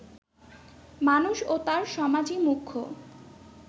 মানুষ ও তার সমাজই মুখ্য